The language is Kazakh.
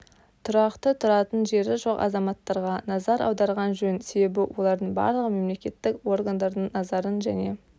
тұрақты тұратын жері жоқ азаматтарға назар аударған жөн себебі олардың барлығы мемлекеттік органдардың назарын және